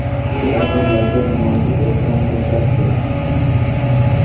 U ajdodlarga munosib ehtirom ko‘rsatdi.